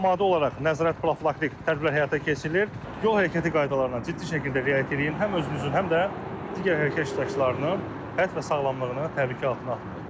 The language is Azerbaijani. Mütəmadi olaraq nəzarət profilaktik tədbirlər həyata keçirilir, yol hərəkəti qaydalarına ciddi şəkildə riayət eləyib həm özünüzün, həm də digər hərəkət iştirakçılarının həyat və sağlamlığını təbii ki qoruyun.